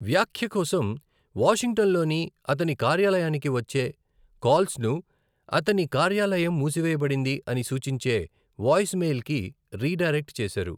వ్యాఖ్య కోసం వాషింగ్టన్లోని అతని కార్యాలయానికి వచ్చే కాల్స్ను అతని 'కార్యాలయం మూసివేయబడింది' అని సూచించే వాయిస్మెయిల్కి రీడైరెక్ట్ చేసారు.